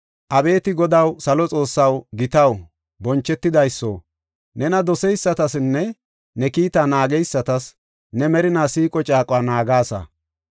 “Abeeti Godaw, salo Xoossaw, gitaw, bonchetidayso, nena doseysatasinne ne kiita naageysatas ne merina siiqo caaquwa naagasa.